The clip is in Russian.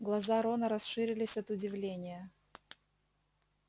глаза рона расширились от удивления